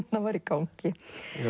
var í gangi